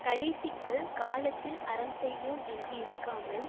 கடைசிக்கு காலத்தில் அறம் செய்வோம் என்று இருக்காமல்